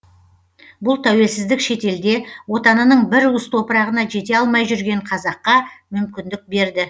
бұл тәуелсіздік шетелде отанының бір уыс топырағына жете алмай жүрген қазаққа мүмкіндік берді